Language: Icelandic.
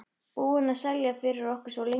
Búinn að selja fyrir okkur svo lengi.